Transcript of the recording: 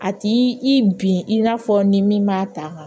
A t'i i bin i n'a fɔ ni min m'a ta